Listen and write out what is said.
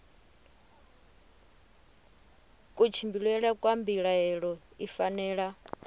kutshimbidzele kwa mbilaelo i fanela